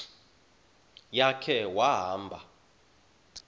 ya khe wahamba